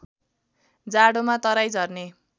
जाडोमा तराई झर्ने